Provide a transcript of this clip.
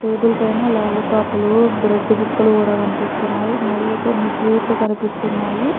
Table పైన lollipop లు bread ముక్కలు కూడా కనిపిస్తున్నాయి మరియు కొన్ని స్వీట్లు కనిపిస్తున్నాయి.